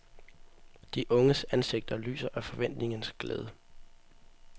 De unges ansigter lyser af forventningens glæde.